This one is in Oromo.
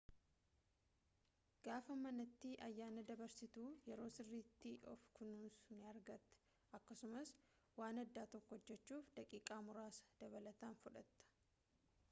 gaafa manati ayyaana dabarsitu yeroo sirritti of kunuunsu ni argata akkasumaas waan adda tokko hojjechuuf daqiiqa muraasa dabalatan fudhata